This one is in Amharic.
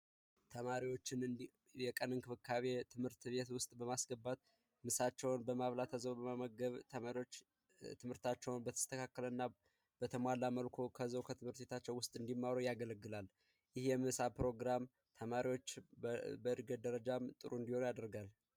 የቀን እንክብካቤ ትምህርት ቤት ውስጥ በማስገባት ምሳቸዉን በመብላት መመገብ ተማሪዎች ትምህርታቸውን በተስተካከልና በተሟላ መልኩ ውስጥ እንዲማሩ ያገለግላል ፕሮግራም ተማሪዎች በእርግጥ ደረጃ ጥሩ እንዲወራ ያደርጋል